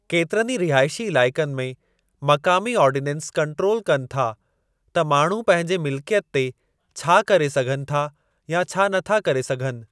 केतिरनि ई रिहाइशी इलाइक़नि में, मक़ामी आर्डीनन्स कंट्रोल कनि था त माण्हू पंहिंजे मिलिकियत ते छा करे सघनि था या छा नथा करे सघनि।